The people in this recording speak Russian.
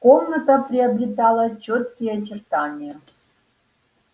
комната приобретала чёткие очертания